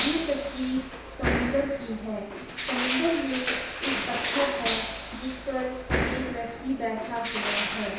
ये तस्वीर समुंदर की है। समुंदर मे एक पत्थर है जिस पर एक व्यक्ति बैठा हुआ है।